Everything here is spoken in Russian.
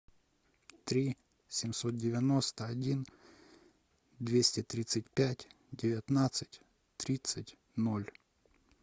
три семьсот девяносто один двести тридцать пять девятнадцать тридцать ноль